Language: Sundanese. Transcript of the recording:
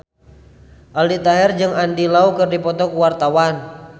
Aldi Taher jeung Andy Lau keur dipoto ku wartawan